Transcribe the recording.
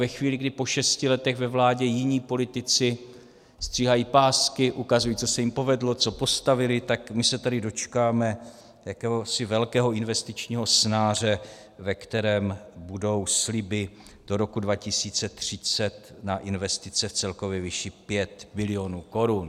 Ve chvíli, kdy po šesti letech ve vládě jiní politici stříhají pásky, ukazují, co se jim povedlo, co postavili, tak my se tady dočkáme jakéhosi velkého investičního snáře, ve kterém budou sliby do roku 2030 na investice v celkové výši 5 bilionů korun.